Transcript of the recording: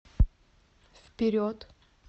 вперед